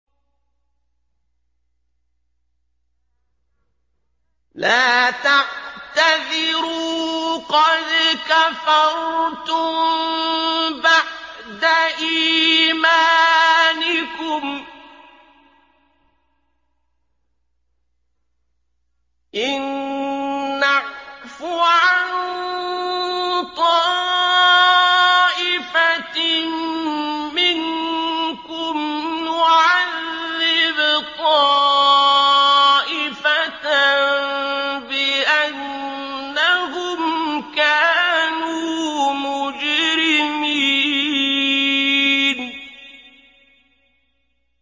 لَا تَعْتَذِرُوا قَدْ كَفَرْتُم بَعْدَ إِيمَانِكُمْ ۚ إِن نَّعْفُ عَن طَائِفَةٍ مِّنكُمْ نُعَذِّبْ طَائِفَةً بِأَنَّهُمْ كَانُوا مُجْرِمِينَ